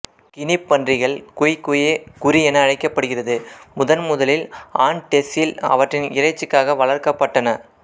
கினிப் பன்றிகள் குய் குயே குறி என அழைக்கபடுகிறது முதன் முதலில் ஆண்டெஸ்ஸில் அவற்றின் இறைச்சிக்காக வளர்க்கப்பட்டன